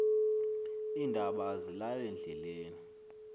iindaba azilali ndleleni